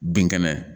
Bin kɛnɛ